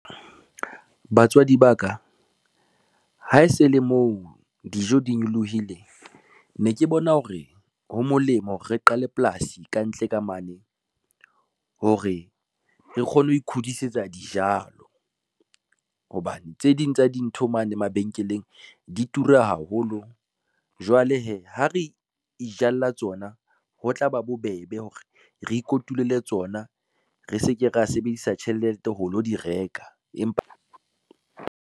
Batswadi ba ka, ha e se le moo dijo di nyolohile, ne ke bona hore ho molemo hore re qale polasi kantle ka mane hore re kgone ho ikhudisetsa dijalo. Hobane tse ding tsa dintho mane mabenkeleng di tura haholo, jwale hee ha re ijalla tsona, ho tla ba bobebe hore re kotule tsona, re se ke ra sebedisa tjhelete ho lo di reka empa.